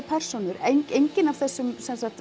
persónum enginn af þessum